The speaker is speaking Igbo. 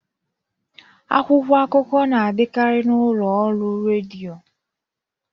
Akwụkwọ akụkọ na adikari n'ụlọ ọrụ rediọ.